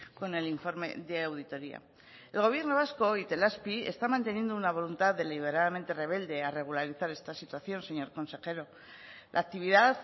con el informe de auditoría el gobierno vasco itelazpi está manteniendo una voluntad deliberadamente rebelde a regularizar esta situación señor consejero la actividad